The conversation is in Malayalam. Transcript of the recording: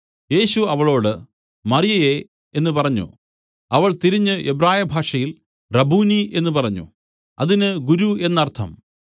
യേശു അവളോട് മറിയയേ എന്നു പറഞ്ഞു അവൾ തിരിഞ്ഞു എബ്രായ ഭാഷയിൽ റബ്ബൂനി എന്നു പറഞ്ഞു അതിന് ഗുരു എന്നർത്ഥം